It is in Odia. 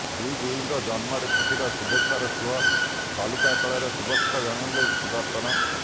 ବିଗ୍ବିଙ୍କ ଜନ୍ମଦିନରେ ଛୁଟିଲା ଶୁଭେଚ୍ଛାର ସୁଅ ବାଲୁକାକଳାରେ ଶୁଭେଚ୍ଛା ଜଣାଇଲେ ସୁଦର୍ଶନ